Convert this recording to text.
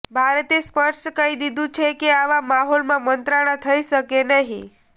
ભારતે સ્પષ્ટ કહી દીધું છે કે આવા માહોલમાં મંત્રણા થઇ શકે નહીં